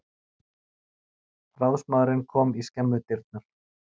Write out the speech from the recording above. Ráðsmaðurinn kom í skemmudyrnar.